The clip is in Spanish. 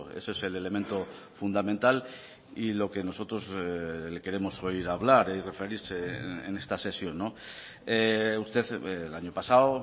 ese es el elemento fundamental y lo que nosotros le queremos oír hablar y referirse en esta sesión usted el año pasado